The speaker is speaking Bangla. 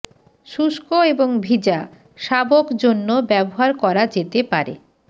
শুষ্ক এবং ভিজা শাবক জন্য ব্যবহার করা যেতে পারে